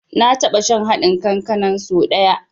Na taɓa shan haɗin kankanan so da ɗaya.